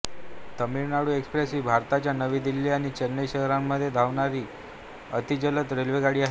Tamil Nadu express ही भारताच्या नवी दिल्ली आणि चेन्नई शहरांच्या मध्ये धावणारी अतिजलद रेल्वेगाडी आहे